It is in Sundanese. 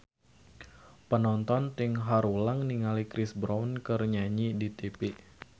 Panonton ting haruleng ningali Chris Brown keur nyanyi di tipi